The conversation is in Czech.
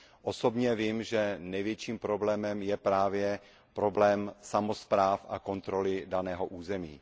Osobně vím, že největším problémem je právě problém samospráv a kontroly daného území.